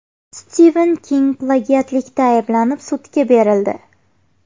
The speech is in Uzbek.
Stiven King plagiatlikda ayblanib sudga berildi.